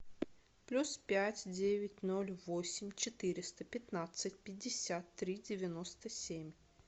плюс пять девять ноль восемь четыреста пятнадцать пятьдесят три девяносто семь